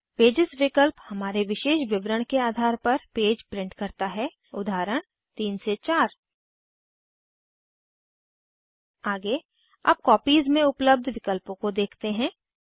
pages विकल्प हमारे विशेष विवरण के आधार पर पेज प्रिंट करता है उदाहरण 3 से 4 आगे अब कॉपीज में उपलब्ध विकल्पों को देखते हैं